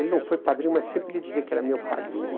Ele não foi padrinho, mas sempre lhe dizia que era meu padrinho.